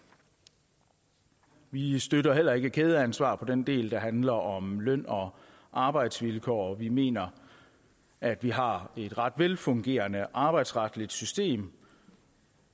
vi vi støtter heller ikke kædeansvar på den del der handler om løn og arbejdsvilkår og vi mener at vi har et ret velfungerende arbejdsretligt system